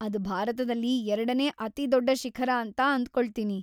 ಅದ್‌ ಭಾರತದಲ್ಲಿ ಎರಡನೇ ಅತಿದೊಡ್ಡ ಶಿಖರ ಅಂತ ಅಂದ್ಕೊಳತೀನಿ?